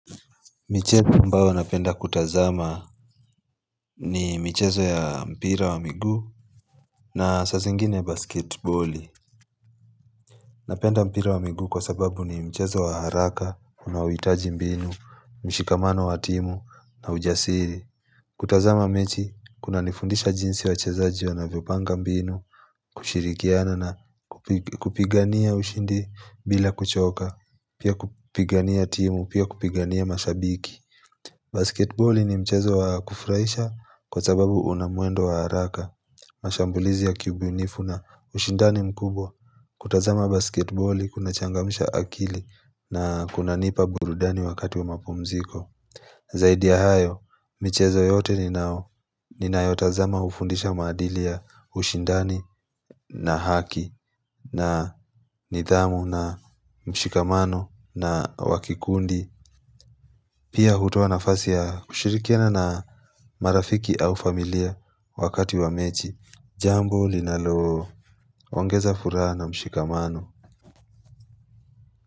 Michezo ambao napenda kutazama ni michezo ya mpira wa miguu na saa zingine basketboli Napenda mpira wa miguu kwa sababu ni mchezo wa haraka, unaoitaji mbinu, mshikamano wa timu na ujasiri kutazama mechi, kuna nifundisha jinsi wa chezaji wa na vyopanga mbinu, kushirikiana na kupigania ushindi bila kuchoka Pia kupigania timu, pia kupigania mashabiki Basketballi ni mchezo wa kufuraisha kwa sababu unamwendo wa haraka mashambulizi ya kiubunifu na ushindani mkubwa kutazama basketboli kuna changamisha akili na kuna nipa burudani wakati wa mapumziko Zaidi ya hayo, michezo yote ni nao ni na yotazama hufundisha maadili ushindani na haki na nithamu na mshikamano na wakikundi Pia hutoa nafasi ya kushirikiana na marafiki au familia wakati wa mechi Jambo linalo, ongeza furaha na mshikamano.